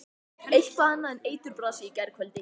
Eitthvað annað en eiturbrasið í gærkvöldi.